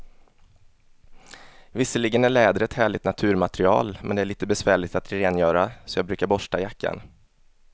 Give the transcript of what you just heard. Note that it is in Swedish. Visserligen är läder ett härligt naturmaterial, men det är lite besvärligt att rengöra, så jag brukar borsta jackan.